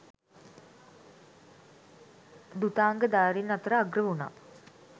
ධුතාංගධාරීන් අතර අග්‍ර වුනා